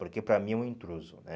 Porque para mim é um intruso, né?